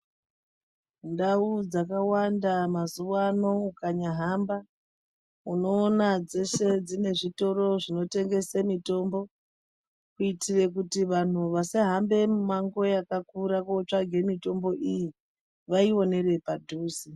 Ndau dzakawanda mazuwano ukanyahamba, unoona dzeshe dzine zvitoro zvinotengese mitombo, kuitire kuti vanhu vasahambe mimango yakakura kotsvaga mitombo iyi, vaionere padhuze.